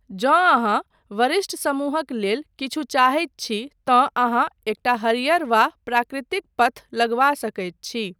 जँ अहाँ वरिष्ठ समूहक लेल किछु चाहैत छी तँ अहाँ एकटा हरियर वा प्राकृतिक पथ लगबा सकैत छी।